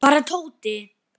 Hvar er Tóti?